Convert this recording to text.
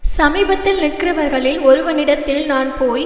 சமீபத்தில் நிற்கிறவர்களில் ஒருவனிடத்தில் நான் போய்